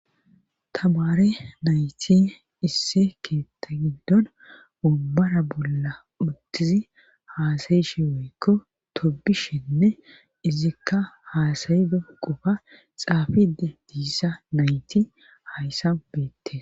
Tamare nayti isse keetta giddon ubbara bolla uttizi haasayishe woykko tobishinne izikka haasayido qofa xaafidi diissa nayti hayssa beette.